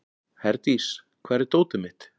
Herdís, hvar er dótið mitt?